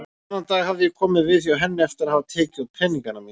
Þennan dag hafði ég komið við hjá henni eftir að hafa tekið út peningana mína.